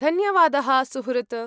धन्यवादः सुहृत्।